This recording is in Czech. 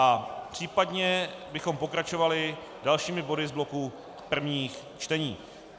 A případně bychom pokračovali dalšími body z bloku prvních čtení.